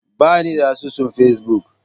Ba ni da asusun Facebook.